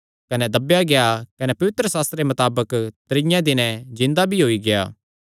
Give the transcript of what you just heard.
कने दब्बेया गेआ कने पवित्रशास्त्रे मताबक त्रीये दिने जिन्दा भी होई गेआ